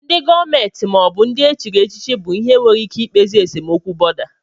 Ndị gọọmenti maọbụ ndị e chiri echichi bụ ihe nwere ike ikpezi esemokwu bọ̀da